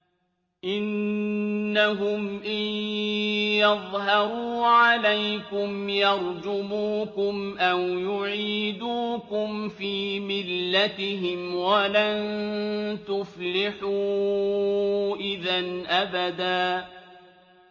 إِنَّهُمْ إِن يَظْهَرُوا عَلَيْكُمْ يَرْجُمُوكُمْ أَوْ يُعِيدُوكُمْ فِي مِلَّتِهِمْ وَلَن تُفْلِحُوا إِذًا أَبَدًا